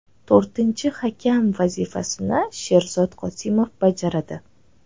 To‘rtinchi hakam vazifasini Sherzod Qosimov bajaradi.